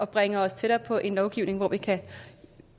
bringe os tættere på en lovgivning hvor vi kan